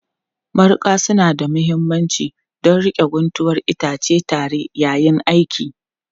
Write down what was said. Mariƙa suna da mahimmanci don riƙe guntuwar itace tare yayin aiki